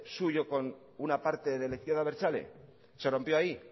suyo con una parte de la izquierda abertzale se rompió ahí